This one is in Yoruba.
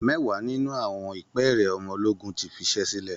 Mẹ́wàá nínú àwọn ìpẹ́ẹ̀rẹ̀ ọmọ ológun ti fiṣẹ́ sílẹ̀